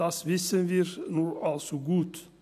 das wissen wir nur allzu gut.